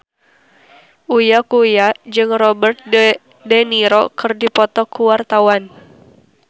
Uya Kuya jeung Robert de Niro keur dipoto ku wartawan